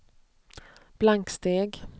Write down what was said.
blanksteg